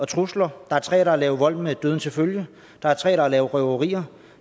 trusler der er tre der har lavet vold med døden til følge der er tre der har lavet røverier